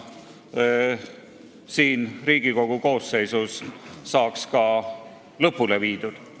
Selle menetlemine võiks praeguse Riigikogu koosseisu ajal saada lõpule viidud.